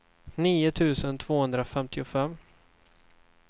nio tusen tvåhundrafemtiofem